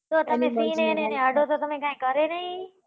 તો તમે સિંહ ને અડો તો કઈ કરે નહિ એ